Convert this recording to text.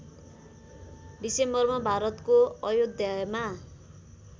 डिसेम्बरमा भारतको अयोध्यामा